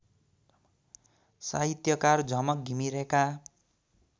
साहित्यकार झमक घिमिरेका